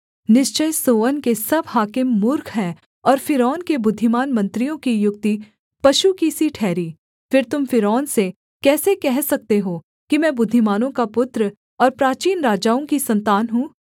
निश्चय सोअन के सब हाकिम मूर्ख हैं और फ़िरौन के बुद्धिमान मंत्रियों की युक्ति पशु की सी ठहरी फिर तुम फ़िरौन से कैसे कह सकते हो कि मैं बुद्धिमानों का पुत्र और प्राचीन राजाओं की सन्तान हूँ